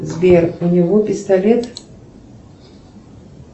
сбер у него пистолет